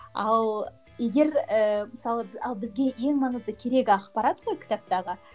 ал егер ііі мысалы ал бізге ең маңызды керегі ақпарат қой кітаптағы